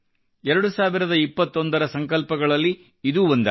2021 ರ ಸಂಕಲ್ಪಗಳಲ್ಲಿ ಇದೂ ಒಂದಾಗಿದೆ